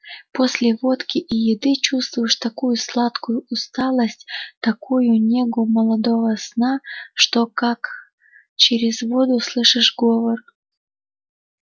после водки и еды чувствуешь такую сладкую усталость такую негу молодого сна что как через воду слышишь говор